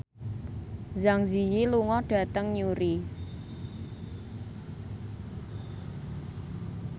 Zang Zi Yi lunga dhateng Newry